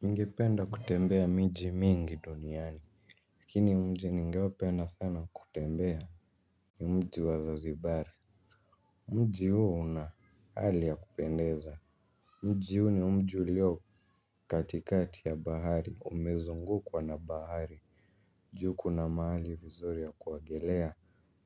Ningpenda kutembea miji mingi duniani. Lakini mji ningeo penda sana kutembea. Ni mji wazazibari. Mji huo una hali ya kupendeza. Mji huo ni mji ulio katikati ya bahari. Umezungukwa na bahari juu kuna maali vizuri ya kuagelea.